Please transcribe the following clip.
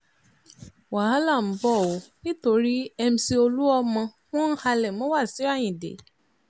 wàhálà ń bọ̀ ọ́ nítorí mc olúmọ wọn ń halẹ̀ mọ́ wáṣíù ayíǹde